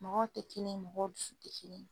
Mɔgɔw te kelen ye, mɔgɔw dusu te kelen ye.